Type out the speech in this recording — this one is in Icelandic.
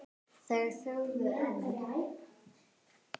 Þeir þögðu enn.